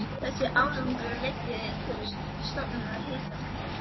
Þessi árangur leiddi til stofnunar Hitaveitu